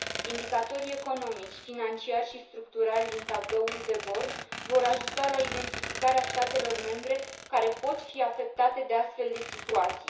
Indicatorii economici, financiari și structurali din tabloul de bord vor ajuta la identificarea statelor membre care pot fi afectate de astfel de situații.